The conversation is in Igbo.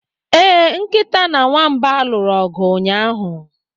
Ee, Nkịta na Nwamba lụrụ ọgụ ụnyaahụ.